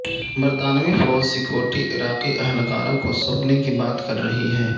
برطانوی فوج سکیورٹی عراقی اہلکاروں کو سونپنے کی بات کر رہی ہے